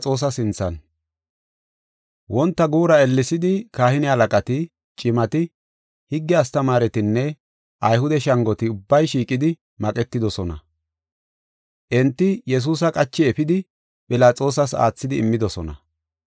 Wonta guura ellesidi kahine halaqati, cimati, higge astamaaretinne Ayhude shangoti ubbay shiiqidi maqetidosona. Enti Yesuusa qachi efidi Philaxoosas aathidi immidosona.